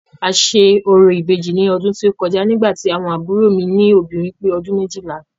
A ṣe orò Ìbejì ní ọdún tí ó kọjá nígbà tí àwọn àbúrò mi lóbìnrin pé ọdún méjìlá.